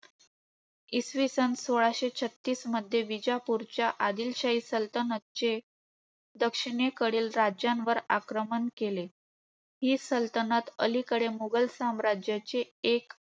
इसवी सन सोळाशे छत्तीसमध्ये आदिलशाही सलतनतचे दक्षिणेकडील राज्यांवर आक्रमण केले. हि सलतनत अलीकडे मुघल साम्राज्याचे